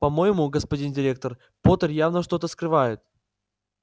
по-моему господин директор поттер явно что-то скрывает